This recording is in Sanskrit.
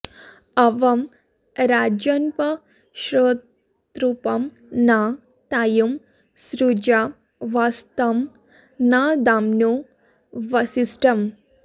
अव॑ राजन्पशु॒तृपं॒ न ता॒युं सृ॒जा व॒त्सं न दाम्नो॒ वसि॑ष्ठम्